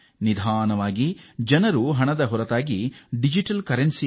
ನಿಧಾನವಾಗಿ ಜನರು ತಮ್ಮ ನಗದು ವಹಿವಾಟಿನ ಮನೋಸ್ಥಿತಿಯಿಂದ ಹೊರಬಂದು ಡಿಜಿಟಲ್ ಹಣದತ್ತ ಸಾಗುತ್ತಿದ್ದಾರೆ